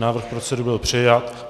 Návrh procedury byl přijat.